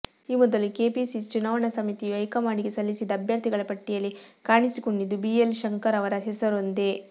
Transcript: ಈ ಮೊದಲು ಕೆಪಿಸಿಸಿ ಚುನಾವಣಾ ಸಮಿತಿಯು ಹೈಕಮಾಂಡಿಗೆ ಸಲ್ಲಿಸಿದ್ದ ಅಭ್ಯರ್ಥಿಗಳ ಪಟ್ಟಿಯಲ್ಲಿ ಕಾಣಿಸಿಕೊಂಡಿದ್ದು ಬಿಎಲ್ ಶಂಕರ್ ಅವರ ಹೆಸರೊಂದೇ